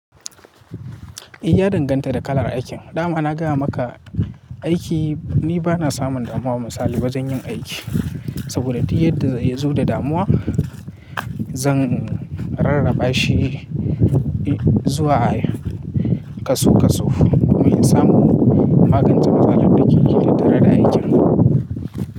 Eh, ya danganta da kalar aikin. Da ma na gaya maka aiki ni bana samun damuwa misali bazan yin aiki saboda duk yadda ya zo da damuwa zan rarraba shi zuwa kasu kasu domin samu magance matsalar da ke tare da aikin.